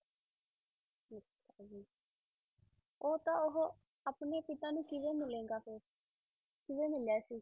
ਉਹ ਤਾਂ ਉਹ ਆਪਣੇ ਪਿਤਾ ਨੂੰ ਕਿਵੇਂ ਮਿਲੇਗਾ ਫਿਰ, ਕਿਵੇਂ ਮਿਲਿਆ ਸੀ?